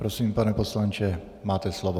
Prosím, pane poslanče, máte slovo.